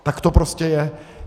Tak to prostě je.